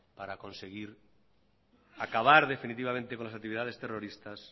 para conseguir acabar definitivamente con las actividades terroristas